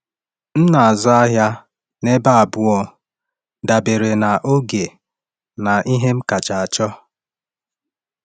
M na-azụ ahịa n’ebe abụọ, dabere na oge na ihe m kacha chọọ.